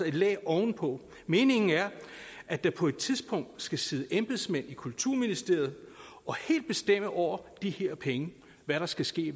et lag ovenpå meningen er at der på et tidspunkt skal sidde embedsmænd i kulturministeriet og helt bestemme over de her penge hvad der skal ske